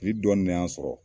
dɔɔnin de y'an sɔrɔ